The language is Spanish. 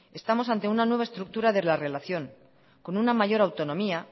estamos ante una nueva estructura de la relación con una mayor autonomía